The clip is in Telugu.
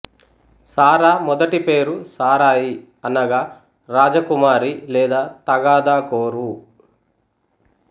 సారా మొదటి పేరు సారయి అనగా రాజకుమారి లేదా తగాదాకోరు